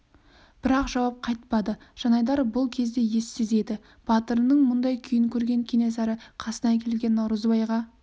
бірақ жауап қайтпады жанайдар бұл кезде ессіз еді батырының мұндай күйін көрген кенесары қасына келген наурызбайға